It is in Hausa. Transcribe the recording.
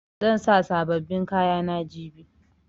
Zan sa sabobbin kayana jibi.